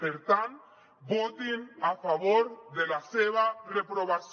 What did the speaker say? per tant votin a favor de la seva reprovació